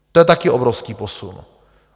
To je taky obrovský posun.